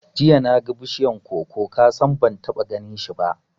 Jiya naga bishiyar koko, kasan ban taɓa ganinshi ba